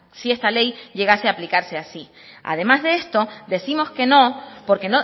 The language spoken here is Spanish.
si esta ley llegase a aplicarse así además de esto décimos que no porque